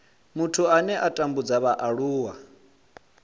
muthu ane a tambudza vhaaluwa